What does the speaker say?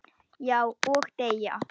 Já, og deyja